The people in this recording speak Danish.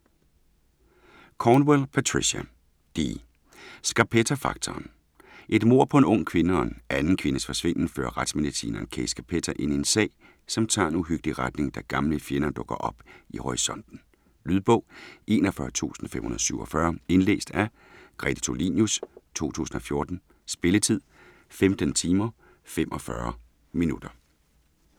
Cornwell, Patricia D.: Scarpetta-faktoren Et mord på en ung kvinde og en anden kvindes forsvinden fører retsmedicineren Kay Scarpetta ind i en sag, som tager en uhyggelig retning da gamle fjender dukker op i horisonten. Lydbog 41547 Indlæst af Grete Tulinius, 2014. Spilletid: 15 timer, 45 minutter.